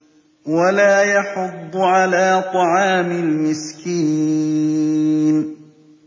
وَلَا يَحُضُّ عَلَىٰ طَعَامِ الْمِسْكِينِ